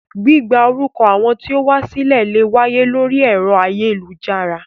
Gbígba orúkọ àwọn tí ó wá sílẹ̀ lè wáyé lórí ẹ̀rọ ayélujára